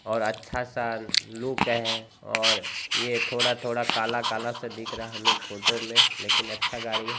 और अच्छा सा लुक है और यह थोड़ा थोड़ा काला काला स दिख रहा है हमे फोटो मे लेकीन अच्छा गाड़ी है।